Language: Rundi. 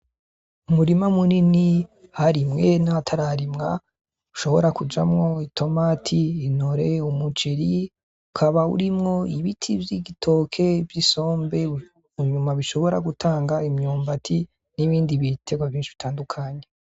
Umurima munini aharimwe n'ahatararimwa hashobora kujamwo itomati, intore, umuceri ukaba urimwo ibiti vy'igitoke vy'isombe munyuma bishobora gutanga imyumbati n'ibindi bitegwa vyinshi bitandukanye.